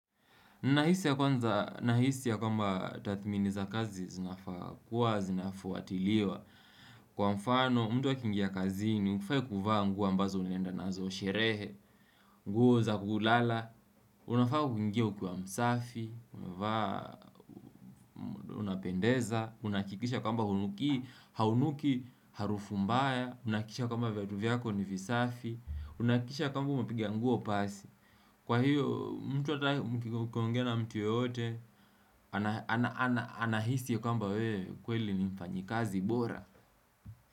Nahisi ya kwanza, nahisi ya kwamba tadhmini za kazi zinafakuwa, zinafuatiliwa. Kwa mfano, mtu akiingia kazini hufai kuvaa nguo mbazo unaenda nazo sherehe, nguo za kulala, unafaa kuingia ukiwa msafi, unapendeza, unahakikisha kwamba hunuki, haunuki, harufu mbaya, unahakikisha kwamba viatu vyako ni visafi, unahakikisha kwamba umepiga nguo pasi. Kwa hiyo, mtu ata mkiongea na mtu yeyote, anahisi kwamba wewe kweli ni mfanyikazi bora.